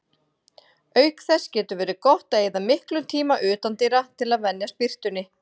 Auk þess getur verið gott að eyða miklum tíma utandyra til að venjast birtunni.